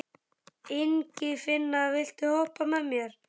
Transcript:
Ingifinna, viltu hoppa með mér?